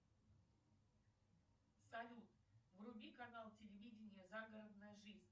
салют вруби канал телевидения загородная жизнь